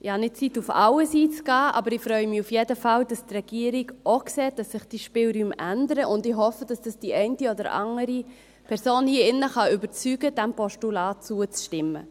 Ich habe nicht Zeit, auf alles einzugehen, aber ich freue mich auf jeden Fall, dass die Regierung auch sieht, dass sich die Spielräume ändern, und ich hoffe, dass dies die eine oder andere Person hier in diesem Saal überzeugen kann, dem Postulat zuzustimmen.